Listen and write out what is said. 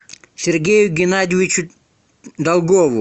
сергею геннадьевичу долгову